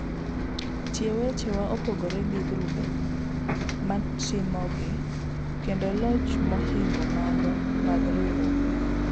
Tie weche wa opogre gi grube matimogi, kendo lach mohingo mago mag riuruok no